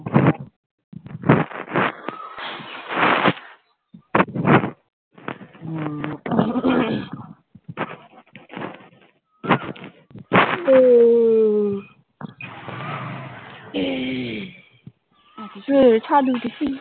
ছাদে উঠেছি।